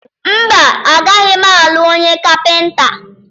Mba, agaghị m alụ onye kapịnta.